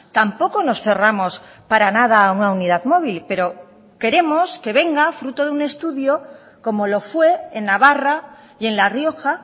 tampoco nos cerramos para nada a una unidad móvil pero queremos que venga fruto de un estudio como lo fue en navarra y en la rioja